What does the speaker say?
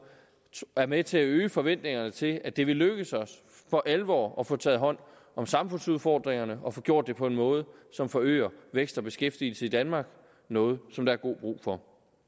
er med til at øge forventningerne til at det vil lykkes os for alvor at få taget hånd om samfundsudfordringerne og få gjort det på en måde som forøger vækst og beskæftigelse i danmark noget som der er god brug for